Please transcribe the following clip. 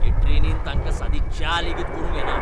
हे ट्रेनींत तांकां सादी च्या लेगीत करूंक येना!